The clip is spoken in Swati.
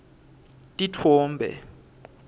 titfombe